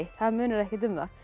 það munar ekkert um það